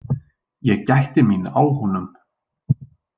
Ég gætti mín á honum.